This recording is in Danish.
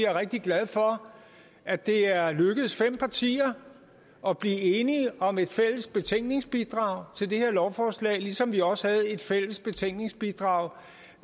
er rigtig glad for at det er lykkedes fem partier at blive enige om et fælles betænkningsbidrag til det her lovforslag ligesom vi også havde et fælles betænkningsbidrag